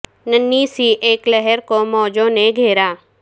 ننھی سی اک لہر کو مو جو ں نے گھیرا